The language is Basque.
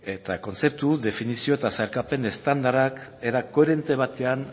eta kontzeptu definizio eta sailkapen estandarrak era koherente batean